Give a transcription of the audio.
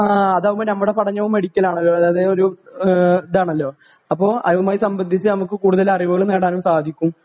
ആ ആ അതാവുമ്പോ നമ്മുടെ പടനവും മെഡിക്കലാണല്ലോ അതേ ഒരു ഇതാണല്ലോ അപ്പോ അതുമായി സംബന്ധിച്ച് നമുക്ക് കൂടുതൽ അറിവുകൾ നേടാനും സാധിക്കും